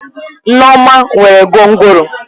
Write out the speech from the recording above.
Neoma nwere gwongworo.